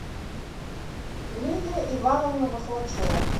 лидия ивановна вахлачева